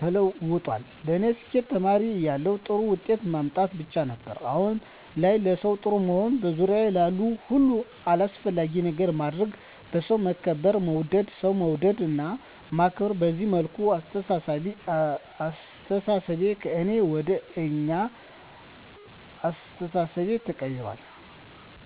ተለውጧል ለኔ ስኬት ተማሪ እያለሁ ጥሩ ውጤት ማምጣት ብቻ ነበር። አሁን ላይ ለሠው ጥሩ መሆን፤ በዙሪያዬ ላሉ ሁሉ አስፈላጊ ነገር ማድረግ፤ በሠው መከበር መወደድ፤ ሠው መውደድ እና ማክበር፤ በዚህ መልኩ አስተሣሠቤ ከእኔ ወደ አኛ አስተሣሠቤ ተቀይራል።